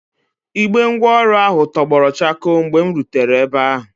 Igbe ngwaọrụ ahụ tọgbọrọ chakoo mgbe m rutere ebe a.